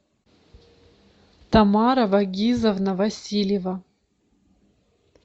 тамара вагизовна васильева